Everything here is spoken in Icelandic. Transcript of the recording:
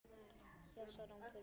Já, svaraði hún pirruð.